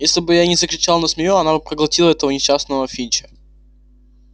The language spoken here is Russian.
если бы я не закричал на змею она бы проглотила этого несчастного финча